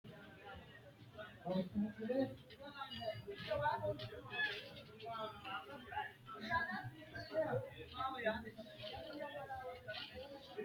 muronna laalo yinanni wote toogoota timaatime lendannaatinso laalote yinanniti timaatimetewiinni baxxitannote? tini bura timaatime rainsikki intiro mayii qarra afidhino ?